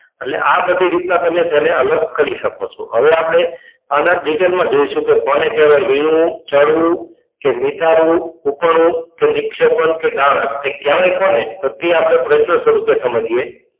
એટલે આ બધી રીતના તમે અલગ કરી શકો છો એટલે હવે આપણે આને detail માં જોઈશું કોને કહેવાય વીણવું, ચાળવું, કે નિતારવું, ઊપણવું કે નિક્ષેપણ કે ગાળણ કહેવાય કોને તે આપણે તે આપણે પ્રશ્ન સ્વરૂપે સમજીએ.